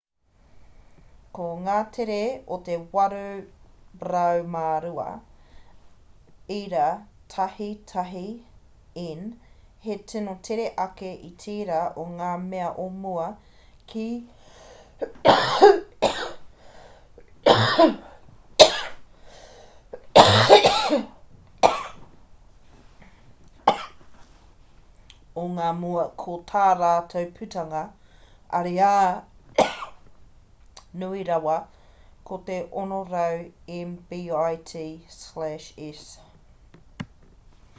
ko ngā tere o te 802.11n he tino tere ake i tērā o ngā mea o mua ko tā rātou putanga ariā nui rawa ko te 600mbit/s